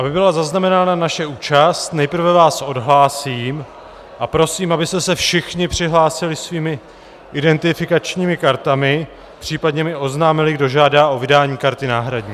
Aby byla zaznamenána naše účast, nejprve vás odhlásím a prosím, abyste se všichni přihlásili svými identifikačními kartami, případně mi oznámili, kdo žádá o vydání karty náhradní.